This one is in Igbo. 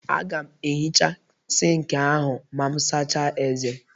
Aga m ehichaa sink ahụ ma m sachaa ezé.